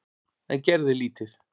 En gerði lítið.